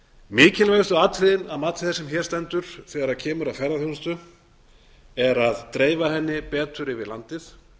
mikilvægustu atriðin að mati þess sem hér stendur þegar kemur að ferðaþjónustu er að dreifa henni betur yfir landið